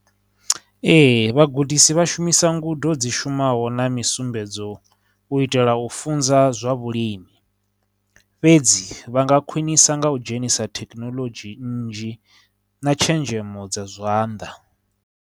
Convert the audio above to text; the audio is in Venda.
Ee, vhagudisi vhashumisa ngudo dzi shumaho na misumbedzo u itela u funza zwa vhulimi fhedzi, vha nga khwinisa nga u dzhenisa thekinoḽodzhi nnzhi, na tshenzhemo dza zwanḓa.